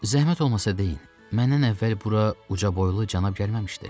Zəhmət olmasa deyin, məndən əvvəl bura uca boylu cənab gəlməmişdi?